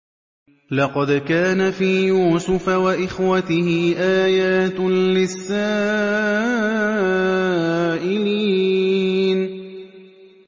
۞ لَّقَدْ كَانَ فِي يُوسُفَ وَإِخْوَتِهِ آيَاتٌ لِّلسَّائِلِينَ